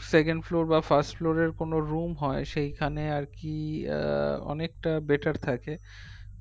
second floor বা first floor এর কোনো room হয় সেখানে আর কি আহ অনেকটা better থাকে